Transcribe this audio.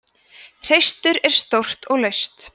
hreistur er stórt og laust